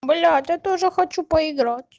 бля то тоже хочу поиграть